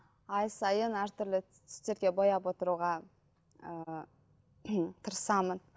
ай сайын әртүрлі түстерге бояп отыруға ыыы тырысамын